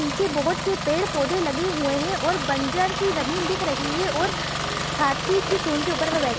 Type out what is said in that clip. पीछे बहुत से पेड़-पौधे लगे हुए हैं और बंजर सी जमीन दिख रही है। और हाथी के सूंढ़ के ऊपर में बै--